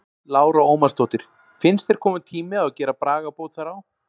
Lára Ómarsdóttir: Finnst þér kominn tími á að gera bragabót þar á?